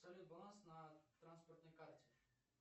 салют баланс на транспортной карте